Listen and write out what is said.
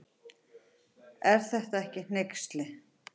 Er þetta ekki hneyksli.